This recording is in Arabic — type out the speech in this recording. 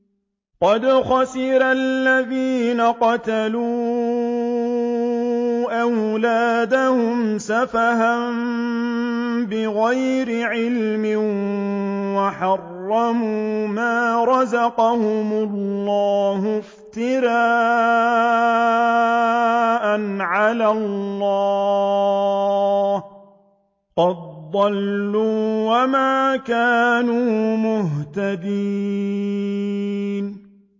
قَدْ خَسِرَ الَّذِينَ قَتَلُوا أَوْلَادَهُمْ سَفَهًا بِغَيْرِ عِلْمٍ وَحَرَّمُوا مَا رَزَقَهُمُ اللَّهُ افْتِرَاءً عَلَى اللَّهِ ۚ قَدْ ضَلُّوا وَمَا كَانُوا مُهْتَدِينَ